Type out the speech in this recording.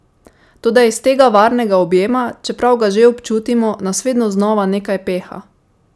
Toda iz tega varnega objema, čeprav ga že občutimo, nas vedno vedno znova nekaj peha?